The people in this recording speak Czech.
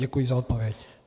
Děkuji za odpověď.